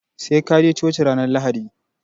Sai kaje choci ranar lahadi